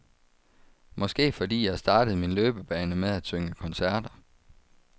Måske fordi jeg startede min løbebane med at synge koncerter.